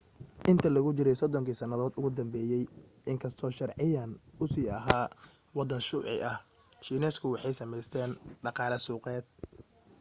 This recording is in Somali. intii lagu jiray soddonkii sanadood ee u dambeeyay in kastoo sharciyan uu sii ahaa waddan shuuci ah shiineysku waxay samaysteen dhaqaale suuqeed